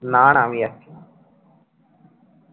না না আমি যাচ্ছিনা